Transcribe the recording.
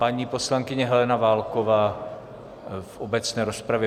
Paní poslankyně Helena Válková v obecné rozpravě.